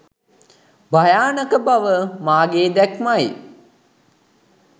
භයානක බව මාගේ දැක්මයි